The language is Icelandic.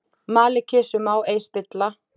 Mali kisu má ei spilla.